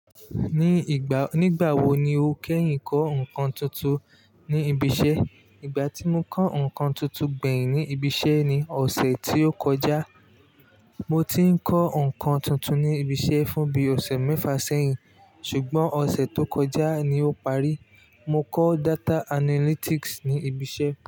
Ní ìgbà, nígbà wo ni o kẹ́yìn kọ́ ǹkan tuntun ní ibi iṣẹ́? Ìgbà tí mo kọ́ ǹkan tuntun gbẹ̀yìn ní ibi iṣẹ́ ni ọ̀sẹ̀ tí ó kọjá. Mo ti ń kọ́ ǹkan tuntun ní ibi iṣẹ́ fún bí ọ̀sẹ̀ mẹ́fà sẹ́yìn, ṣùgbọ́n ọ̀sẹ̀ tó kọjá ni ó parí. Mo kọ́ data analytics ní ibi iṣẹ́.